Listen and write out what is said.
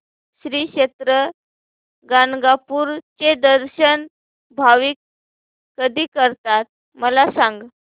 श्री क्षेत्र गाणगापूर चे दर्शन भाविक कधी करतात मला सांग